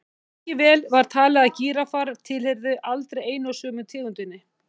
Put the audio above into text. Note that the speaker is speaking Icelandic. Lengi vel var talið að gíraffar tilheyrðu allir einu og sömu tegundinni.